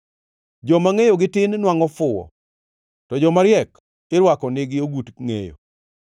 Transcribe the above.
Joma ngʼeyogi tin nwangʼo fuwo, to jomariek irwako nigi ogut ngʼeyo.